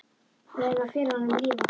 Við verðum að fela honum líf okkar.